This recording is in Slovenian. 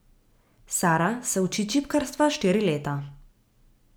Sara se uči čipkarstva štiri leta.